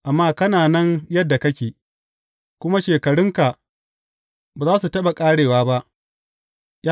Amma kana nan yadda kake, kuma shekarunka ba za su taɓa ƙarewa ba.